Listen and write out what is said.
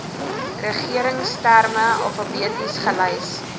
regeringsterme alfabeties gelys